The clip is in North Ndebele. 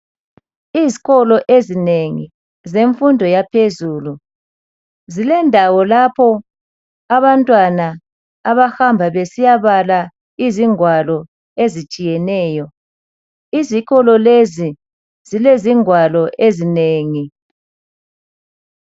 Izikolo ezinengi zemfundo yaphezulu zilendawo lapho abantwana abahamba besiyabala izingwalo ezitshiyeneyo. Izikolo lezi zilezingwalo ezinengi